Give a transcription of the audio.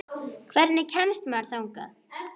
Hvernig kemst maður þangað?